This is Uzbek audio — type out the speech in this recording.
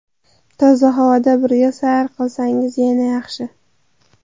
Toza havoda birga sayr qilsangiz yana yaxshi.